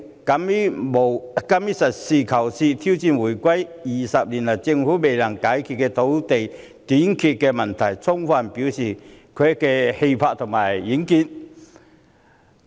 特首敢於實事求是，挑戰回歸20年以來政府未能解決的土地短缺問題，充分展現她的氣魄和遠見。